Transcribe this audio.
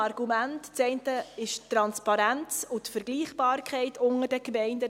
Das eine ist die Transparenz und die Vergleichbarkeit unter den Gemeinden.